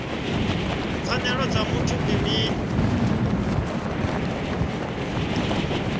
pfanelo dza muthu ndi mini